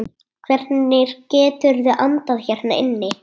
Hvernig geturðu andað hérna inni?